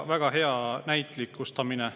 Väga hea näitlikustamine.